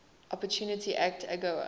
opportunity act agoa